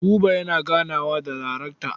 Buba yana ganawa da darekta.